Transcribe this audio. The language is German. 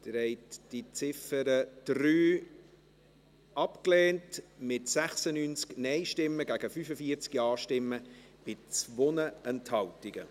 Sie haben die Ziffer 3 abgelehnt, mit 96 Nein- gegen 45 Ja-Stimmen bei 2 Enthaltungen.